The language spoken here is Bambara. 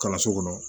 Kalanso kɔnɔ